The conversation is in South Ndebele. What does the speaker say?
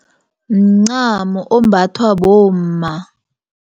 Mncamo ombathwa bomma.